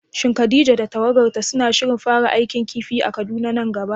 Shin Khadija da tawagarta suna shirin fara aikin kifi a Kaduna nan gaba?